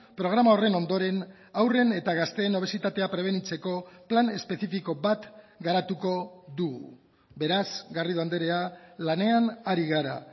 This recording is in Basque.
programa horren ondoren haurren eta gazteen obesitatea prebenitzeko plan espezifiko bat garatuko dugu beraz garrido andrea lanean ari gara